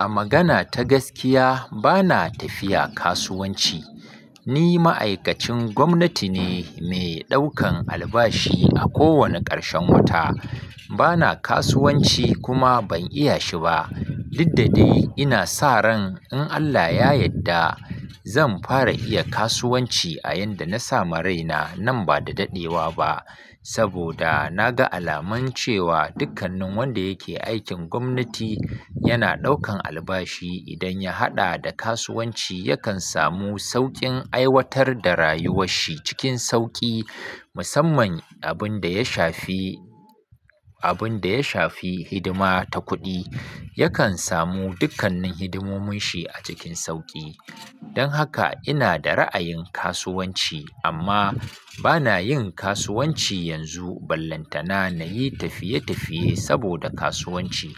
A magana ta gaskiya bana tafiya kasuwanci Ni ma'aikacin gwamnati ne, mai ɗaukan albashi a kowane ƙarshen wata bana kasuwanci kuma ban iya shi ba. Didda dai ina sa ran in Allah ya yadda zan fara iya kasuwanci a yanda na sama raina nan ba da daɗewa ba, saboda na ga alamancewa dukkanin wanda yake aikin gwamnati yana ɗaukan albashi, idan ya haɗa da kasuwanci yakan samu sauƙin aiwatar da rayuwar shi cikin sauƙi musamman abin da ya shafi, abin da ya shafi hidima ta kuɗi, yakan samu dukkanin hidimomin shi a cikin sauƙi. Don haka ina da ra'ayin kasuwanci, amma bana yin kasuwanci yanzu ballantana na yi tafiye-tafiye saboda kasuwanci.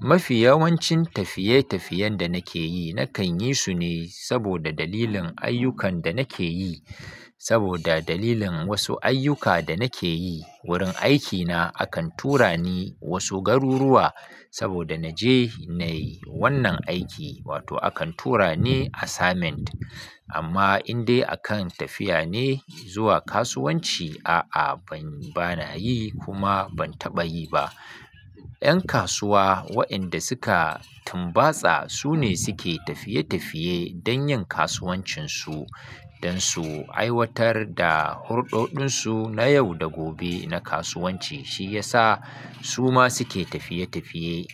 Mafi yawancin tafiye tafiyen da nake yi nakan yi su ne saboda dalilin ayyukan da nake yi. Saboda dalilin wasu ayyuka da nake yi, wurin aikina akan tura ni wasu garuruwa saboda na je na yi wannan aiki, wato akan tura ni assignment. Amma in dai akan tafiya ne zuwa kasuwanci, a'a bana yi kuma ban taɓa yi ba. Yan kasuwa wa'inda suka tumbatsa su ne suke tafiye-tafiye don yin kasuwancin su don su aiwatar da hurɗoɗin su na yau da gobe na kasuwanci, shi ya sa su ma suke tafiye-tafiye.